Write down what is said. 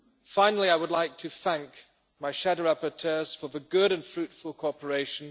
Finally, I would like to thank my shadow rapporteurs for the good and fruitful cooperation.